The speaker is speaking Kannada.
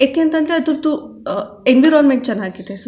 ಯಾಕೆ ಅಂತ ಅದ್ರದು ಅಹ್ ಎನ್ವಿರೋನ್ಮೆಂಟ್ ಚನ್ನಾಗಿದೆ ಸು --